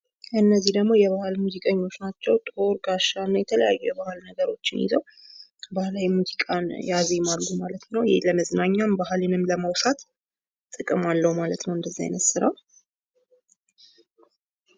እነዚህ ደግሞ የባህል ሙዚቀኞች ናቸዉ ።ጦር፣ ጋሻና የተለያዩ የባህል ነገሮችን ይዘው ባህላዊ ሙዚቃን ያዜማሉ ማለት ነው። ለመዝናኛ ባህልንም ለማውሳት ጥቅም አለው ማለት ነው እንደዚህ አይነት ስራ።